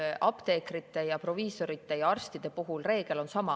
Ei, apteekrite ja proviisorite ja arstide puhul on reegel sama.